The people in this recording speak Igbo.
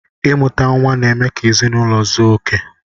Imuta nwa n'eme ka ezinụlọ zuo okè.